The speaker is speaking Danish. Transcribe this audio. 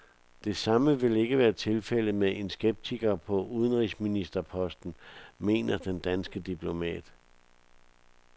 Det samme vil ikke være tilfældet med en skeptiker på udenrigsministerposten, mener den danske diplomat.